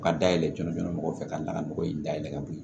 Ka dayɛlɛ jɔnjɔn fɛ ka da ka nɔgɔ in dayɛlɛ ka bo yen